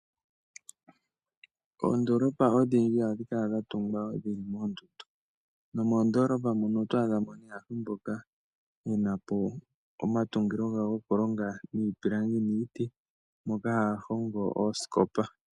Ondoolopa odhindji ohadhi kala dha tungwa dhili moondundu. Nomoondoolopa mono oto adha mo nee aantu mboka yena po omatungilo gawo gokulonga iipilangi niiti moka haya hongo oosikopa.